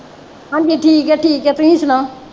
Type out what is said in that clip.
ਹਾਂਜੀ ਠੀਕ ਆ ਠੀਕ ਆ ਤੁਸੀ ਸੁਣਾਓ